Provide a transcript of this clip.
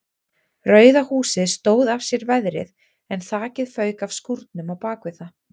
Rauða húsið stóð af sér veðrið en þakið fauk af skúrnum á bakvið það.